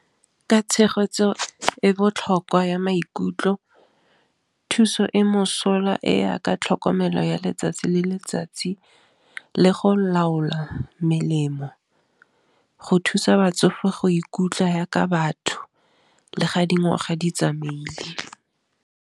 Ka tshegetso e botlhokwa ya maikutlo thuso e mosola e ya ka tlhokomelo ya letsatsi le letsatsi, le go laola melemo go thusa batsofe go ikutlwa yaka batho, le ga dingwaga di tsamaile.